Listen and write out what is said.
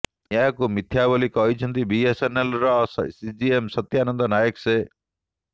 ଏହାକୁ ମିଥ୍ୟା ବୋଲି କହିଛନ୍ତି ବିଏସ୍ଏନ୍ଏଲ୍ର ସିଜିଏମ୍ ସତ୍ୟାନନ୍ଦ ନାୟକ ସେ